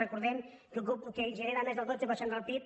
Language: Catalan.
recordem que genera més del dotze per cent del pib